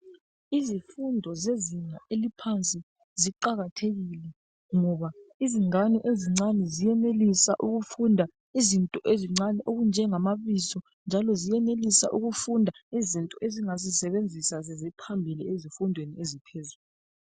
Izifundo zezinga eliphansi ziqakathekile ngoba izingane ezincane ziyenelisa ukufunda izinto ezincane okunjengamabizo njalo ziyenelisa ukufunda izinto ezingazisebenzisa seziphambili ezifundweni eziphezulu.